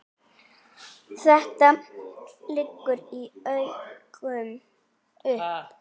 Þetta liggur í augum uppi.